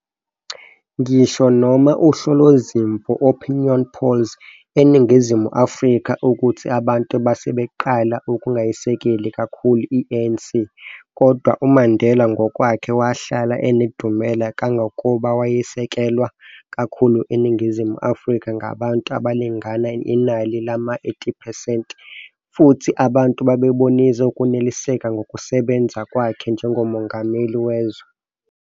Ngisho noma uhlolo zimvo, opinion polls, eNingizimu Afrika, ukuthi abantu basebeqala ukungayisekeli kakkhulu i-ANC, kodwa uMandela ngokwakhe wahlala enedumela, kangangokuba wayesekelwa kakhulu eNingizimu Afrika ngabantu abalingana inali lama 80 percent futhi abantu bebonisa ukuneliseka ngokusebenza kwakhe njengomongameli wezwe.